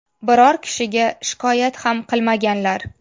Biror kishiga shikoyat ham qilmaganlar.